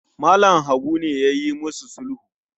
Mallam Habu ne yayi musu sulhu